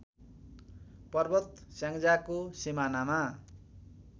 पर्वत स्याङ्जाको सिमानामा